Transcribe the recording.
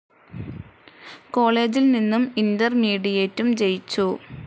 കോളേജിൽ നിന്നും ഇന്റർമീഡിയേറ്റും ജയിച്ചു.